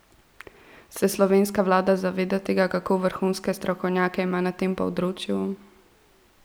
Se slovenska vlada zaveda tega, kako vrhunske strokovnjake ima na tem področju?